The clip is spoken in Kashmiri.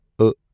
ٲ